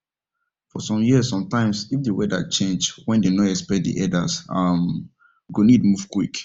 for some years sometimes if the weather change wen them nor expect the herders um go need move quick